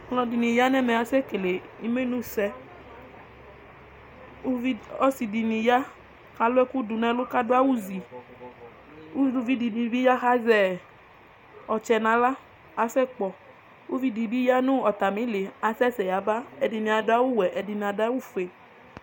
alʊɛɗɩnɩ aƙaƙasɛ ƙele ɩmenʊsɛ ɔsɩɗɩnɩ alʊ ɔnʊ aɗʊ awʊ ozɩ ʊlʊʋɩɗɩnɩ aƙasɛƙpɔ ɔtsɛ alʊɛɗɩnɩɓɩ kasɛsɛ atanɩaɗʊ awʊ nɛlʊ nɛlʊ ɛɗɩnɩaɗʊ awʊ oƒʊe mɛ ɛɗɩnɩaɗʊ oƒʊe